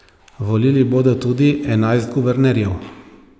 Volili bodo tudi enajst guvernerjev.